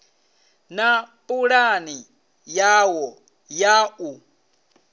na pulani yawo ya u